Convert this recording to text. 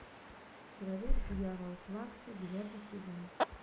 человек дьявол плакса девятый сезон